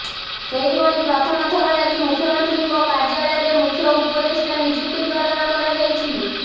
ସେହିଭଳି ପ୍ରଥମ ଥର ଲାଗି ମୁଖ୍ୟମନ୍ତ୍ରୀଙ୍କ କାର୍ଯ୍ୟାଳୟରେ ମୁଖ୍ୟ ଉପଦେଷ୍ଟା ନିଯୁକ୍ତି ପ୍ରଦାନ କରାଯାଇଛି